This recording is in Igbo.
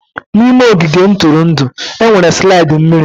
N'ime ogige ntụrụndụ, e nwere slide mmiri.